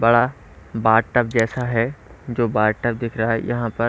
बड़ा bathtub जैसा है जो बाथ टब दिख रहा है यहाँ पर।